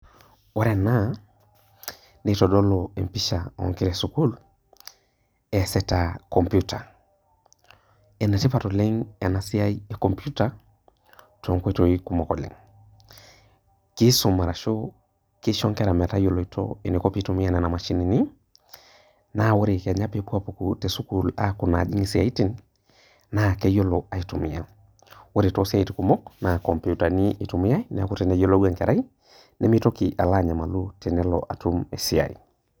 Ore ena, nitodolu empisha onkera esukuul, eesita computer. Enetipat oleng enasiai e computer, tonkoitoii kumok oleng. Kisum arashu kisho nkera metayioloito eniko pitumia nena mashinini, naa ore kenya pepuo apuku tesukuul aku najing isiaitin, naa keyiolo aitumia. Ore tosiaitin kumok naa kompiutani itumiai, neeku teneyiolou enkerai nimitoki alo anyamalu tenelo atum esiai.